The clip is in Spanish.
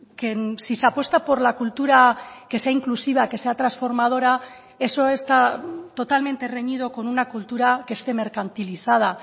que si se apuesta por la cultura que sea inclusiva que sea transformadora eso está totalmente reñido con una cultura que esté mercantilizada